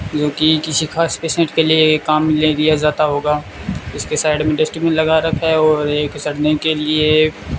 क्योंकि किसी खास पेशेंट के लिए ये काम मिलने दिया जाता होगा उसके साइड में डस्टबिन लगा रखा है और एक चढ़ने के लिए --